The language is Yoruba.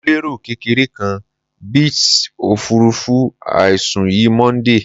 Mo lero kekere kan bit ofurufu aisun yi Monday